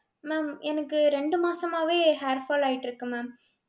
ma'am எனக்கு ரெண்டு மாசமாவே hair fall ஆயிட்டுருக்கு mam